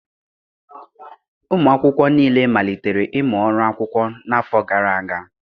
Ụmụ akwụkwọ niile malitere ịmụ ọrụ akwụkwọ n'afọ gara aga